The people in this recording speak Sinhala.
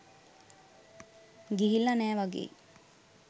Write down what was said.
ගිහිල්ල නෑ වගෙයි.